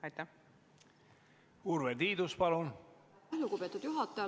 Aitäh, lugupeetud juhataja!